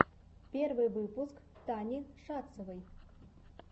первый выпуск тани шацевой